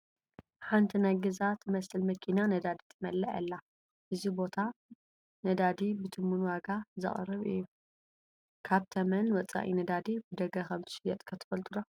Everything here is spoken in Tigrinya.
ሓንቲ ናይ ገዛ ትመስል መኪና ነዳዲ ትመልእ ኣላ፡፡ እዚ ቦታ ነዳዲ ብትሙን ዋጋ ዘቕርብ እዩ፡፡ ካብ ተመን ወፃኢ ነዳዲ ብደገ ከምዝሽየጥ ከ ትፈልጡ ዶ?